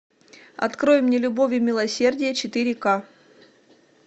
открой мне любовь и милосердие четыре к